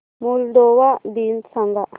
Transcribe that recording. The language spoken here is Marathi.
मोल्दोवा दिन सांगा